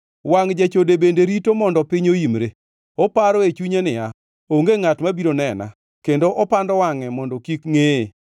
Wangʼ jachode bende rito mondo piny oimre; oparo e chunye niya, ‘Onge ngʼat ma biro nena,’ kendo opando wangʼe mondo kik ngʼeye.